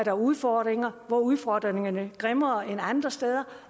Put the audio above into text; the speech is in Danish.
er udfordringer hvor udfordringerne er grimmere end andre steder